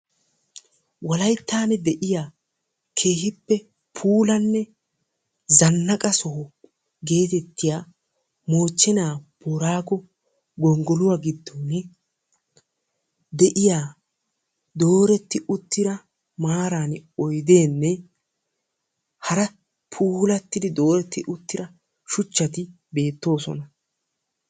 Wolayttan de'iyaa keehippe puulane zannaqqa sohuwaa geetettiya mochena boorago gonggoluwaa giddoni deiya dooretti uttida maaran oyddene haara puulatidi dooretti uttida shuuchchati beetosona.